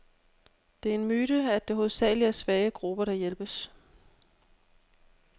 Det er en myte, at det hovedsageligt er svage grupper, der hjælpes.